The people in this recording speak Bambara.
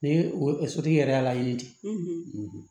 Ni o sotigi yɛrɛ y'a laɲini di